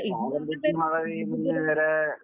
കാലംതെറ്റി മഴപെയ്യുന്നതിന് വേറെ